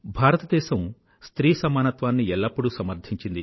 భారతదేశం స్త్రీ సమానత్వాన్ని ఎల్లప్పుడూ సమర్థించింది